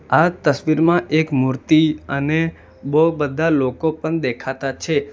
આ તસવીરમાં એક મૂર્તિ અને બો બધા લોકો પણ દેખાતા છે.